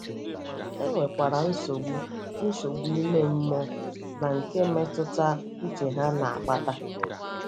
E nwekwara nsogbu nsogbu ime mmụọ na nke mmetụta uche ha na - akpata.